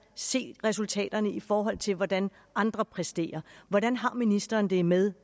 se resultaterne i forhold til hvordan andre præsterer hvordan har ministeren det med